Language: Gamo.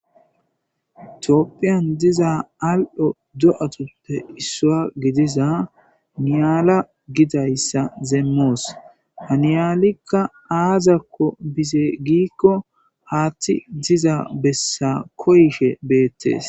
Tophphiyan diza al'o do'atuppe issuwa gidiza niyala gidayssa demmos; ha niyalika aazako bize giiko haaththi diza bessa koyishe beetees.